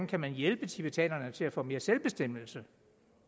kan hjælpe tibetanerne til at få mere selvbestemmelse